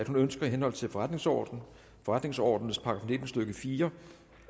hun ønsker i henhold til forretningsordenens forretningsordenens § nitten stykke fire